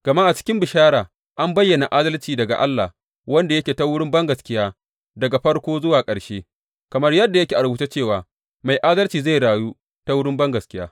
Gama a cikin bishara an bayyana adalci daga Allah wanda yake ta wurin bangaskiya daga farko zuwa ƙarshe, kamar yadda yake a rubuce cewa, Mai adalci zai rayu ta wurin bangaskiya.